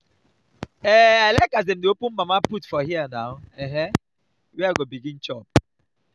um i like as dem open mama-put for hear na um where i go begin chop.